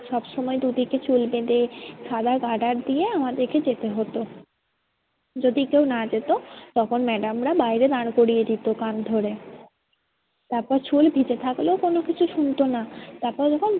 সব সময় দুদিকে চুল বেঁধে সাদা গ্রাডার দিয়ে আমাদেরকে যেতে হতো। যদি কেউ না যেত তখন madam রা বাইরে দাঁড় করিয়ে দিতো কান ধরে। তারপর চুল ভিজে থাকলেও কোনো কিছু শুনতো না। তারপর যখন